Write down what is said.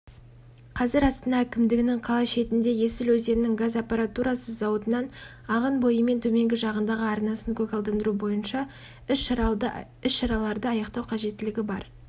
қазір астана әкімдігінің қала шетінде есіл өзенінің газ аппаратурасы зауытынан ағын бойымен төменгі жағындағы арнасын көгалдандыру бойынша іс-шараларды аяқтау қажеттілігі бар